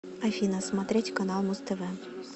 афина смотреть канал муз тв